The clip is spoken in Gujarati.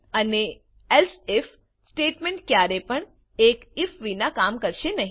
અને એલ્સે આઇએફ સ્ટેટમેંટ ક્યારે પણ એક આઇએફ વિના કામ કરશે નહી